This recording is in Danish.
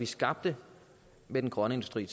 skabte med den grønne industri